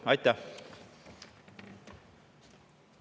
Aitäh!